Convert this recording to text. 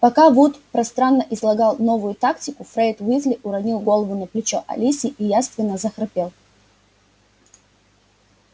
пока вуд пространно излагал новую тактику фред уизли уронил голову на плечо алисии и явственно захрапел